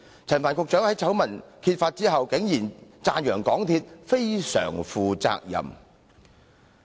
陳帆局長在醜聞揭發後，竟讚揚港鐵公司"非常負責任"。